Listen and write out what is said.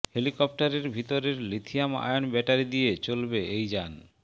হেলিকপ্টারের ভিতরের lithium ion battery দিয়ে চলবে এই যান